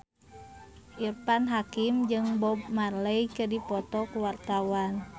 Irfan Hakim jeung Bob Marley keur dipoto ku wartawan